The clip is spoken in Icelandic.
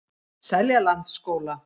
Seljalandsskóla